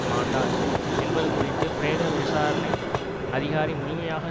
மாண்டார் என்பது குறித்து பிரேத விசாரணை அதிகாரி முழுமையாக